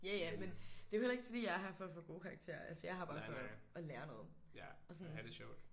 Ja ja men det er jo heller ikke fordi jeg er her for at få gode karakterer. Altså jeg er her jo bare for at lære noget og sådan